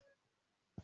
Màá dìbò fún ọ.